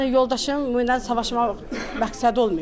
Yəni yoldaşımla savaşmaq məqsədi olmayıb da.